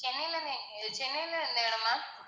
சென்னைல எங்க? சென்னைல எந்த இடம் ma'am